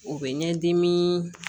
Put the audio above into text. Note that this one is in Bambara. O bɛ ɲɛdimi